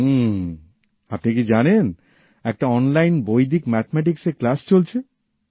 হুম আপনি কি জানেন একটা অনলাইন বৈদিক ম্যাথমেটিক্স এর ক্লাস চলছে